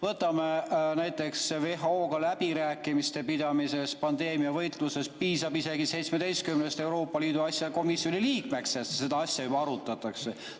Võtame näiteks WHO‑ga läbirääkimiste pidamise pandeemiavastases võitluses – piisab isegi 17 Euroopa Liidu asjade komisjoni liikmest, et seda asja juba arutatakse.